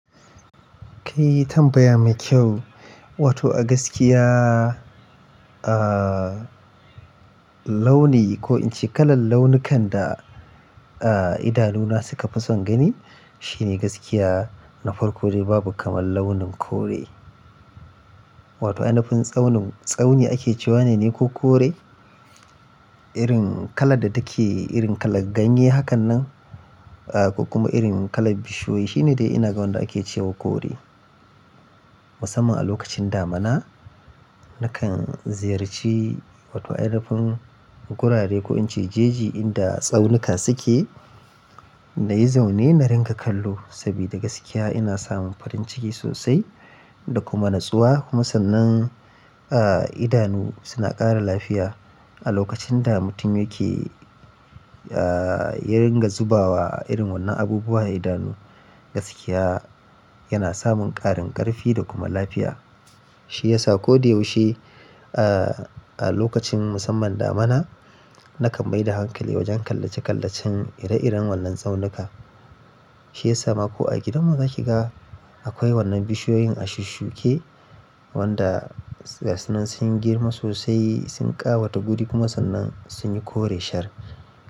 Kayi tambaya mai kyau, wato a gaskiya, ah, launi ko in ce kalar launukan da, ah, idanuna suka fi son gani shine gaskiya. Na farko dai babu kamar launin kore. Wato ainifin tsaunin tsauni ake cewa ne ko kore. Irin kalar da take, irin kalar ganye hakan nan, ah, ko kuma irin kalar bishiyoyi shine dai ina ga wanda ake cewa kore. Musamman a lokacin damina nakan ziyarci wato ainafin gurare ko in ce jeji inda tsaunuka suke. Na yi zaune na ringa kallo saboda gaskiya ina samun farin ciki sosai da kuma natsuwa. Kuma sannan, ah, idanu suna ƙara lafiya. A lokacin da mutum yake, ah, ya ringa zubawa irin wannan abubuwa idanu, gaskiya yana samun ƙarin ƙarfi da kuma lafiya. Shi ya sa ko da yaushe, ah, a lokacin musamman damina nakan mai da hankali wajen kallace-kallacen ire-iren wannan tsaunuka. Shi ya sa ma ko a gidanmu za ki ga akwai wannan bishiyoyin ashusshuke wanda gasunan sunyi girma sosai, sun ƙawata guri kuma sannan sun yi kore shar.